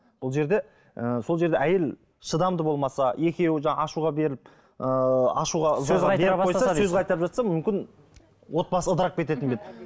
бұл жерде сол жерде ы әйел шыдамды болмаса екеуі де ашуға беріліп ыыы ашуға сөз қайтарып жатса мүмкін отбасы ыдырап кететін бе еді